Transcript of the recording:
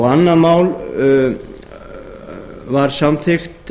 annað mál var samþykkt